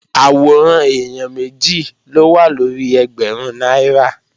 Àwòrán èèyàn méjì ló wà lórí ẹgbẹ̀rún náírà